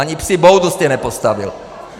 Ani psí boudu jste nepostavil.